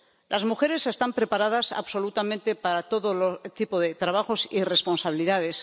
Las mujeres están preparadas absolutamente para todo tipo de trabajos y responsabilidades.